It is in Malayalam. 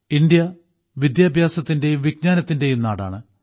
ഇന്ത്യ വിദ്യാഭ്യാസത്തിന്റെയും വിജ്ഞാനത്തിന്റെയും നാടാണ്